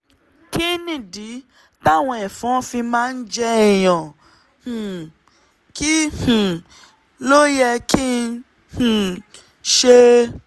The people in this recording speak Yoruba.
kí nìdí táwọn ẹ̀fọn fi máa ń jẹ èèyàn? um kí um ló yẹ kí um n ṣe?